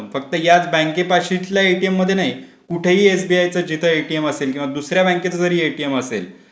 मध्ये जा फक्त याच बँकेपास तिथल्या एटीएम मध्ये नाहीतर कुठेहि एसबीआयच्या जिथे एटीएम असेल किंवा दुसऱ्या बँकेचे जरी एटीएम असेल.